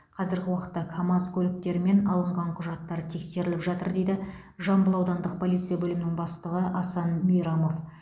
қазіргі уақытта камаз көліктері мен алынған құжаттар тексеріліп жатыр дейді жамбыл аудандық полиция бөлімінің бастығы асан мейрамов